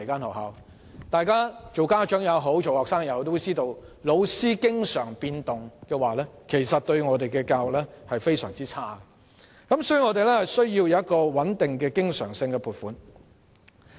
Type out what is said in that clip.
無論是家長或學生也知道教師的頻密變動其實對教育而言是一件壞事，所以我們需要穩定的經常性撥款。